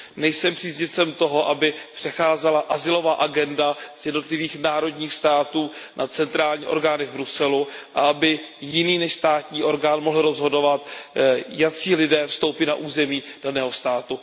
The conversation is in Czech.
Nejsem příznivcem toho, aby přecházela azylová agenda z jednotlivých národních států na centrální orgány v Bruselu a aby jiný než státní orgán mohl rozhodovat, jací lidé vstoupí na území daného státu.